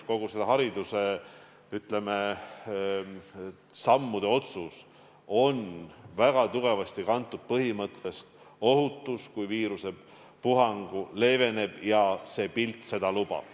Kõik nende sammude otsused on väga tugevasti kantud ohutuse põhimõttest: kui viirusepuhang leeveneb ja see pilt seda lubab.